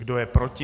Kdo je proti?